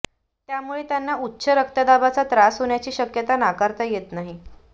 यामुळे त्यांना उच्च रक्तदाबाचा त्रास होण्याची शक्यता नाकारता येत नाही